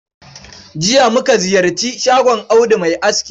Jiya muka ziyarci shagon Audu ma'aski